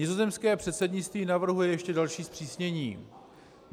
Nizozemské předsednictví navrhuje ještě další zpřísnění.